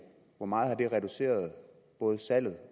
hvor meget har det reduceret både salget